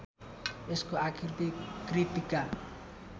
यसको आकृति कृत्तिका